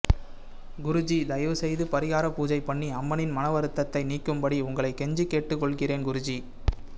குருஜி தயவு செய்து பரிகார பூஜை பண்ணி அம்மனின் மனவருத்தத்தை நீக்கும் படி உங்களை கெஞ்சி கேட்டுக்கொள்கிறேன் குருஜி